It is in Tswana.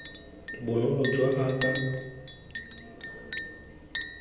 bonolo jaaka gale kae koo